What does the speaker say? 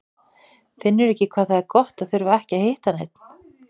Finnurðu ekki hvað það er gott að þurfa ekki að hitta neinn?